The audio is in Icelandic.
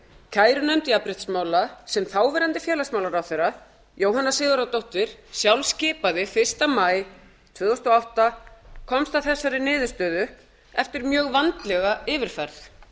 kærunefnd jafnréttismála sem þáverandi félagsmálaráðherra jóhanna sigurðardóttir sjálf skipaði fyrsta maí tvö þúsund og átta komst að þessari niðurstöðu eftir mjög vandlega yfirferð